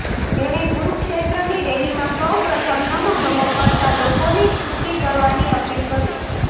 તેણે કુરુક્ષેત્રની રેલીમાં સૌ પ્રથમ નમો નમો કરતા લોકોની છુટ્ટી કરવાની અપીલ કરી